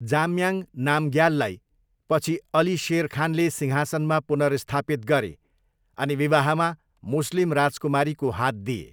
जाम्याङ नामग्याललाई पछि अली शेर खानले सिंहासनमा पुनर्स्थापित गरे अनि विवाहमा मुस्लिम राजकुमारीको हात दिए।